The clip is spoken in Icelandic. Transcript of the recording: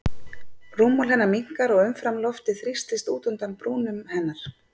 Rúmmál hennar minnkar og umfram loftið þrýstist út undan brúnum hennar.